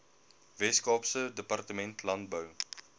weskaapse departement landbou